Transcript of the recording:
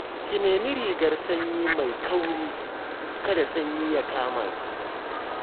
Ki nemi rigar sanyi mai kauri, kada sanyi ya kama ki